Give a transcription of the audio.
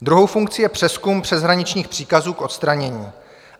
Druhou funkci je přezkum přeshraničních příkazů k odstranění.